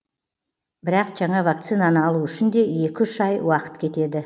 бірақ жаңа вакцинаны алу үшін де екі үш ай уақыт кетеді